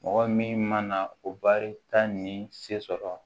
Mɔgɔ min mana o baarita ni se sɔrɔ